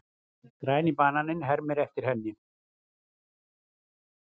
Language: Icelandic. Græni bananinn hermir eftir henni.